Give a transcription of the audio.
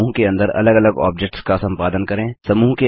एक समूह के अंदर अलग अलग ऑब्जेक्ट्स का सम्पादन करें